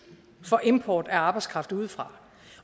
for import af arbejdskraft udefra